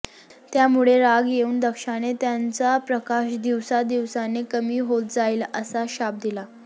त्यामुळे राग येऊन दक्षाने त्यांचा प्रकाश दिवसादिवसाने कमी होत जाईल असा शाप दिला